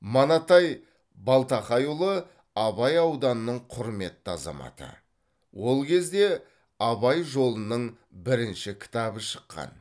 манатай балтақайұлы абай ауданының құрметті азаматы ол кезде абай жолының бірінші кітабы шыққан